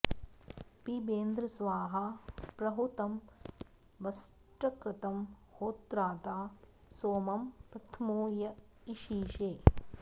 पिबेन्द्र स्वाहा प्रहुतं वषट्कृतं होत्रादा सोमं प्रथमो य ईशिषे